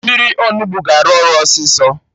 Mmiri Onugbu ga-arụ ọrụ ọsịsọ